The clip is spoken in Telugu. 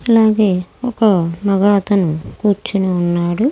అలాగే ఒక మగ అతను కూర్చొని ఉన్నాడు.